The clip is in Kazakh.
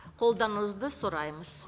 қолдауыңызды сұраймыз